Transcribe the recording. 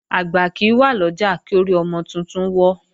Àgbà kì í wà lọ́jà, kí orí ọmọ titun wọ́.